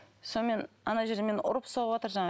сонымен ана жерде мені ұрып соғыватыр жаңағы